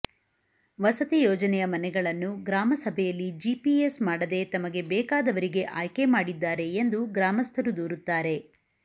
ವಸತಿ ಯೋಜನೆಯ ಮನೆಗಳನ್ನು ಗ್ರಾಮಸಭೆಯಲ್ಲಿ ಜಿಪಿಎಸ್ ಮಾಡದೆ ತಮಗೆ ಬೇಕಾದವರಿಗೆ ಆಯ್ಕೆ ಮಾಡಿದ್ದಾರೆ ಎಂದು ಗ್ರಾಮಸ್ಥರು ದೂರುತ್ತಾರೆ